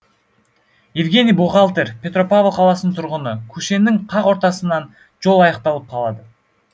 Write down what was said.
евгений бухгалтер петропавл қаласының тұрғыны көшенің қақ ортасынан жол аяқталып қалады